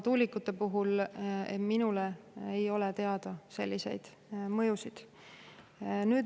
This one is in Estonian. Tuulikute puhul ei ole minule selliseid mõjusid teada.